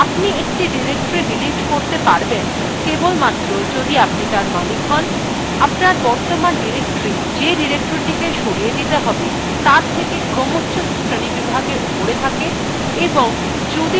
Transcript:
আপনি একটি directory delete করতে পারবেন কেবলমাত্র যদি আপনি তার মালিক হন owner বর্তমান directory যে directorythe সরিয়ে দিতে হবে তার থেকে ক্রমচ্ছ শ্রেণীবিভাগে উপরে থাকে এবং যদি directorythe ফাঁকা থাকে